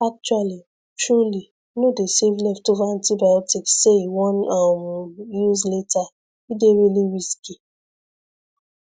actually truly no dey save leftover antibiotics say you wan um use later e dey really risky